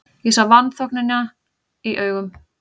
Ég sá vanþóknunina í augum